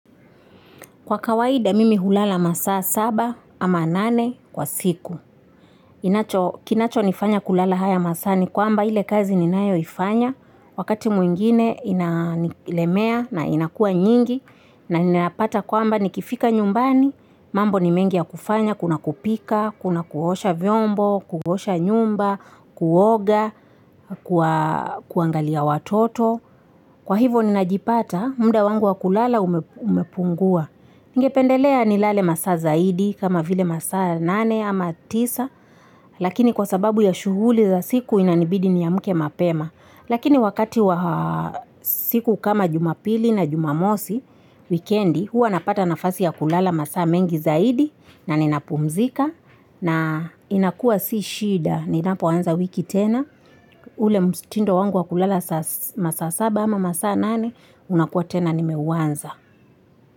Kwa kawaidha mimi hulala masaa saba ama nane kwa siku. Kinacho nifanya kulala haya masaa ni kwamba ile kazi ninayo ifanya. Wakati mwingine ina nilemea na inakua nyingi. Na ninapata kwamba nikifika nyumbani, mambo ni mengi ya kufanya kuna kupika, kuna kuosha vyombo, kuosha nyumba, kuoga, kuangalia watoto. Kwa hivyo ninajipata, mda wangu wakulala umepungua. Ningependelea nilale masaa zaidi, kama vile masaa nane ama tisa. Lakini kwa sababu ya shuguli za siku inanibidi ni amke mapema. Lakini wakati wa siku kama jumapili na jumamosi wikendi, hua napata nafasi ya kulala masaa mengi zaidi, na ninapumzika, na inakua si shida. Ninapo anza wiki tena, ule mtindo wangu wakulala masaa saba ama masaa nane, unakua tena nimeuanza.